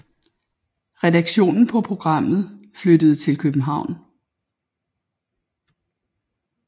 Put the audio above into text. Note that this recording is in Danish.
Redaktionen på programmet flyttede til København